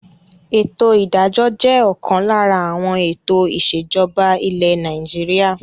Ètò ìdájọ́ jẹ́ ọ̀kan lára àwọn ètò ìsèjọba ilẹ̀ Nàìjíríà.